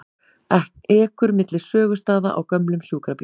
Ekur milli sögustaða á gömlum sjúkrabíl